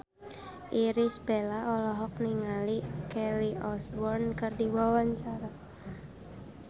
Irish Bella olohok ningali Kelly Osbourne keur diwawancara